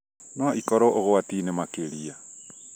no ikorwo ũgwati-inĩ makĩria